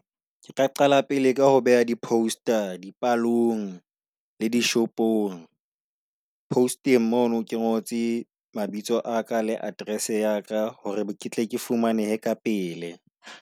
Ke ka qala pele ka ho beha di post-a di palong le di shopong. Post-eng mono ke ngotse mabitso a ka le address ya ka hore ketle ke fumanehe ka pele.